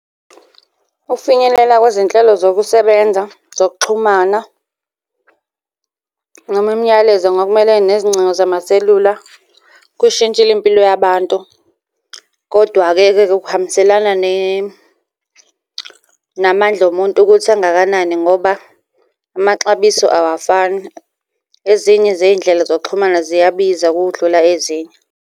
Ukufinyelela kwezinhlelo zokusebenza zokuxhumana noma imiyalezo nokumelene nezingcingo zamaselula, kuyishintshile impilo yabantu, kodwa-ke ke kuhambiselana namandla omuntu ukuthi angakanani ngoba amaxabiso awafani. Ezinye zey'ndlela zokuxhumana ziyabiza ukudlula ezinye.